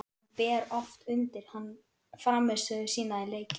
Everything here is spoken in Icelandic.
Hún ber oft undir hann frammistöðu sína í leikjum.